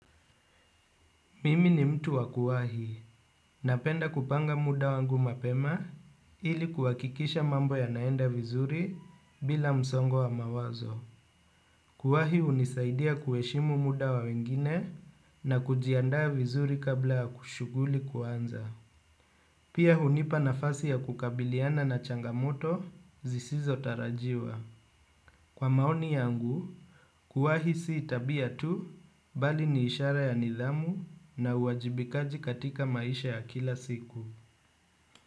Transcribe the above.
Mimi ni mtu wa kuwahi. Napenda kupanga muda wangu mapema ili kuhakikisha mambo yanaenda vizuri bila msongo wa mawazo. Kuwahi hunisaidia kuheshimu muda wa wengine na kujiandaa vizuri kabla shughuli kuanza. Pia hunipa nafasi ya kukabiliana na changamoto zisizo tarajiwa. Kwa maoni yangu, kuuwahi si abia tu, bali ni ishara ya nidhamu na uwajibikaji katika maisha ya kila siku.